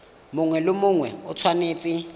mongwe le mongwe o tshwanetse